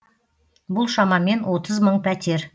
бұл шамамен отыз мың пәтер